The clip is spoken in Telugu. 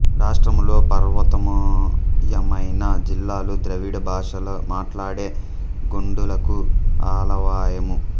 రాష్ట్రములో పర్వతమయమైన జిల్లాలు ద్రావిడ భాషలు మాట్లాడే గోండులకు ఆలవాలము